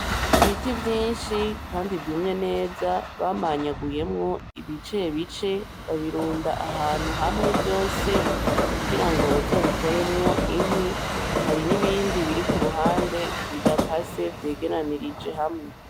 Ibiti vyinshi kandi vyumye neza , bamanyaguyemwo ibicebice babirunda ahantu hamwe vyose kugirango bazobikoremwo inkwi, hari nibindi biri kuruhande bidakase vyegeranirije hamwe .